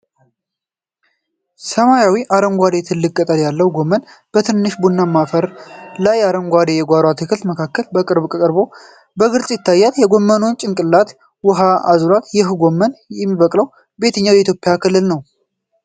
ሰማያዊ አረንጓዴ ትልቅ ቅጠል ያለው ጎመን፣ በትንሽ ቡናማ አፈር ላይና በአረንጓዴ የጓሮ አትክልት መካከል፣ በቅርብ ቀርቦ በግልጽ ይታያል፤ የጎመን ጭንቅላት ውኃ አዝሎአል። ይህ ጎመን የሚበቅለው በየትኛው የኢትዮጵያ ክልል ነው?